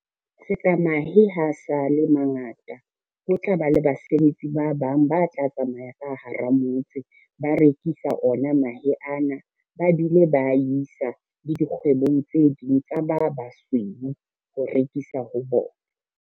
Se ka maehe ha sa le mangata, ho tla ba le basebetsi ba bang ba tla tsamaya ka hara motse ba rekisa ona mahe ana, ba bile ba isa le dikgwebong tse ding tsa ba basweu ho rekisa ho bona.